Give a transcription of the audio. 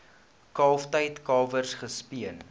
kalftyd kalwers gespeen